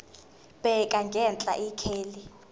bheka ngenhla ikheli